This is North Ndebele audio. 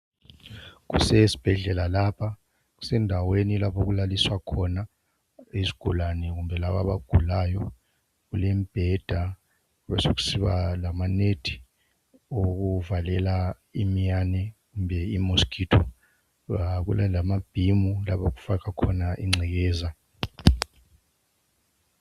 kusesibhedlela kusendaweni lapho okulaliswa khona izigulane kumbe laba abagulayo kulembheda besekusiba lama net okuvalela imiyane kumbe i mosquito kulalamabhimu lapho okufakwa khona ingcekeza